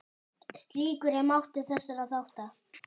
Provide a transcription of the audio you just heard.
Slíkur er máttur þessara þátta.